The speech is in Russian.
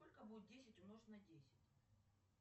сколько будет десять умножить на десять